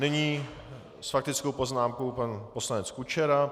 Nyní s faktickou poznámkou pan poslanec Kučera.